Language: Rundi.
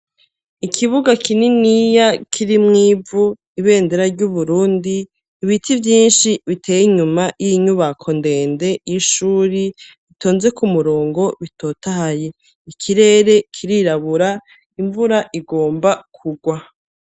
Ikibuga kininiya kiri mwivu ibendera ry'uburundi ibiti vyinshi biteye inyuma y'inyubako ndende y'ishuri itonze ku murongo bitotahaye ikirere kirirabura imvura igomba kugwa.